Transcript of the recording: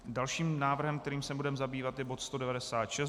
Dalším návrhem, kterým se budeme zabývat, je bod